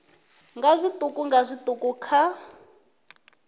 nga zwiṱuku nga zwiṱuku kha